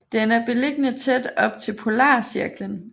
Den er beliggende tæt op til Polarcirklen